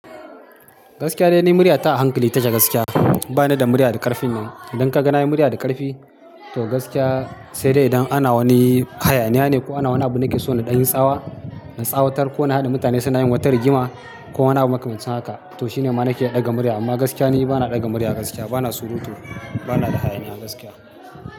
Gaskiya dai na yi murya ta a hankali take gaskiya. Bana da murya da ƙarfin nan. Idan ka ga na yi murya da ƙarfi to gaskiya sai dai idan ana wani hayaniya ne ko ana wani abu nake so na ɗan yin tsawa na tsawatar ko na haɗa mutane suna yin wata rigima ko wani abu makamancin haka to shine ma na ke ɗaga murya. Amma gaskiya ni bana ɗaga murya gaskiya bana surutu bana da hayaniya gaskiya.